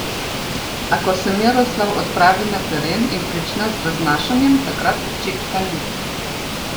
A ko se Miroslav odpravi na teren in prične z raznašanjem, takrat počitka ni.